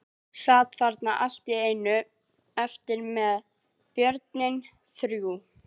Sat þarna allt í einu eftir með börnin þrjú.